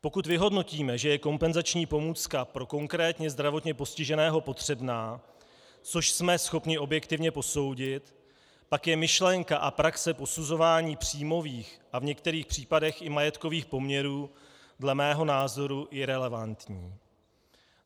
Pokud vyhodnotíme, že je kompenzační pomůcka pro konkrétně zdravotně postiženého potřebná, což jsme schopni objektivně posoudit, pak je myšlenka a praxe posuzování příjmových a v některých případech i majetkových poměrů dle mého názoru irelevantní.